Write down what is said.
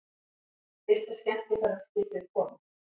Fyrsta skemmtiferðaskipið komið